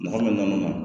Mɔgɔ min nana